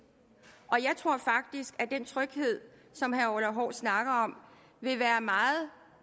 og jeg tror faktisk at den tryghed som herre orla hav snakker om vil være meget